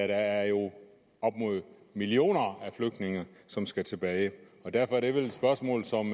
der jo er millioner af flygtninge som skal tilbage og derfor er det vel et spørgsmål som